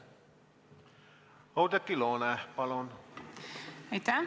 Oudekki Loone, palun!